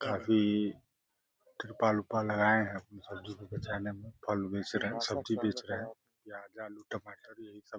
काफी तिरपाल ओरपाल लगाये हैं। सब्जी-उब्जी बेचने में फल उल बेच रहे है सब्जी बेच रहे है। प्याज आलू टमाटर यही सब --